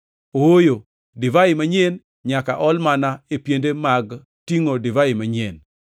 Ooyo, divai manyien nyaka ol mana e piende mag tingʼo divai manyien.